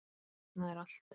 Þarna er allt.